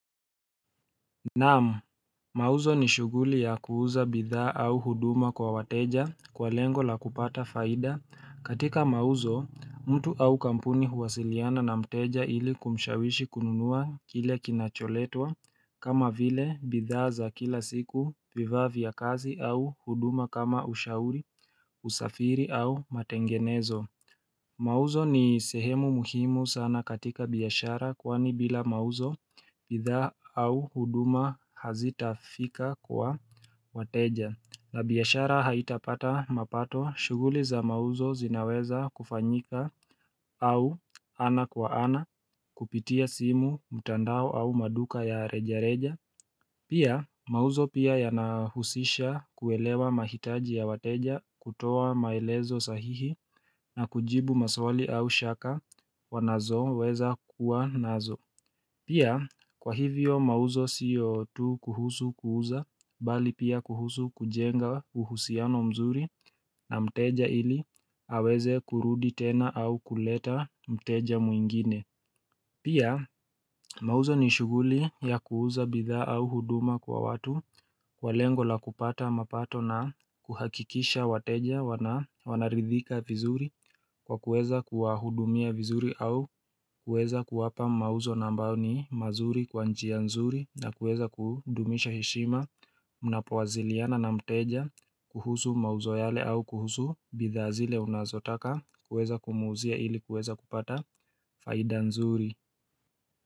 Naam mauzo ni shuguli ya kuuza bidhaa au huduma kwa wateja kwa lengo la kupata faida katika mauzo mtu au kampuni huwasiliana na mteja ili kumshawishi kununua kile kinacholetwa kama vile bidhaa za kila siku vivaa vya kazi au huduma kama ushauri usafiri au matengenezo mauzo ni sehemu muhimu sana katika biashara kwani bila mauzo bidhaa au huduma hazitafika kwa wateja na biashara haitapata mapato shuguli za mauzo zinaweza kufanyika au ana kwa ana kupitia simu mtandao au maduka ya reja reja Pia mauzo pia yanahusisha kuelewa mahitaji ya wateja kutoa maelezo sahihi na kujibu maswali au shaka wanazo weza kuwa nazo. Pia kwa hivyo mauzo siyo tu kuhusu kuuza bali pia kuhusu kujenga uhusiano mzuri na mteja ili aweze kurudi tena au kuleta mteja mwingine. Pia mauzo ni shuguli ya kuuza bidha au huduma kwa watu kwa lengo la kupata mapato na kuhakikisha wateja wanaridhika vizuri kwa kueza kuwa hudumia vizuri au kueza kuwapa mauzo na ambao ni mazuri kwa njia nzuri na kueza kudumisha heshima mnapowaziliana na mteja kuhusu mauzo yale au kuhusu bidhaa zile unazotaka kueza kumuuzia ili kueza kupata faida nzuri.